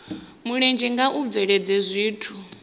mulenzhe kha u bveledza zwithu